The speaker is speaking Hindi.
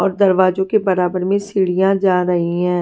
और दरवाजों के बराबर में सीढियां जा रही है।